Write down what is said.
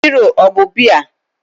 Hero ọ bụ biya?